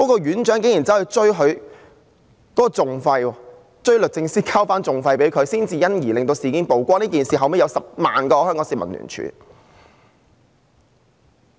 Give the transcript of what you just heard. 院長竟然事後還向律政司追討訟費，才因而令事件曝光。這事件後有10萬名香港市民聯署。